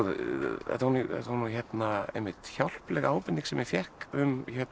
þetta var nú einmitt hjálpleg ábending sem ég fékk um